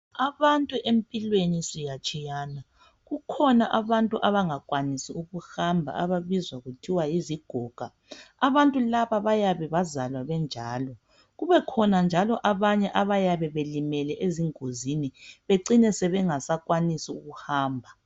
Abantu empilweni siyatshiyana. Kukhona abantu abangakwanisi ukuhamba ababizwa kuthiwa yizigoga. Abantu laba bayabe bazalwa benjalo, kubekhona njalo abanye abayabe belimele ezingozini becine sebengasakwanis' ukuhamba.